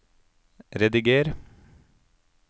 rediger